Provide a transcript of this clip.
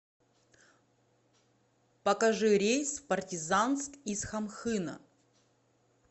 покажи рейс в партизанск из хамхына